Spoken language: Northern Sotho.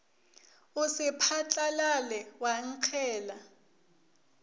o se phatlalale wa nkgela